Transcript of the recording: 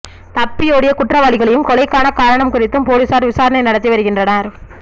தப்பியோடிய குற்றவாளிகளையும் கொலைக்கான காரணம் குறித்தும் பொலிஸார் விசாரணை நடத்தி வருகின்றனர்